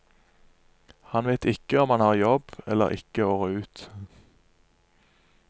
Han vet ikke om han har jobb eller ikke året ut.